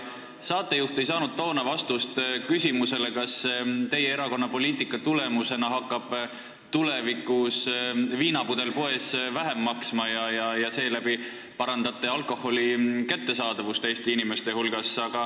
Saatejuht ei saanud vastust küsimusele, kas teie erakonna poliitika tulemusena hakkab tulevikus viinapudel poes vähem maksma ja seeläbi te parandate alkoholi kättesaadavust Eesti inimeste hulgas.